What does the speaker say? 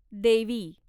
देवी